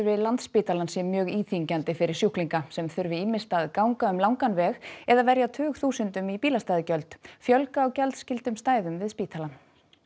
við Landspítalann sé mjög íþyngjandi fyrir sjúklinga sem þurfi ýmist að ganga um langan veg eða verja tugþúsundum í bílastæðagjöld fjölga á gjaldskyldum stæðum við spítalann